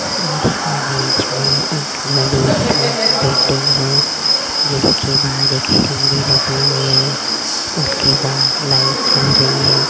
इस इमेज में एक बड़ी सी बिल्डिंग है जिसके बाहर एक सीढ़ी लगी हुई है उसके बाहर लाइट जल रही है।